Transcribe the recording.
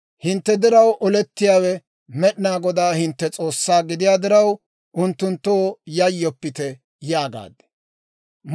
Hintte diraw olettiyaawe, Med'inaa Godaa hintte S'oossaa gidiyaa diraw, unttunttoo yayyoppite› yaagaad.